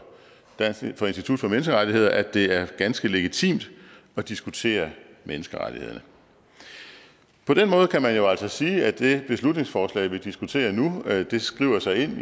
menneskerettigheder at det er ganske legitimt at diskutere menneskerettighederne på den måde kan man jo altså sige at det beslutningsforslag vi diskuterer nu skriver sig ind i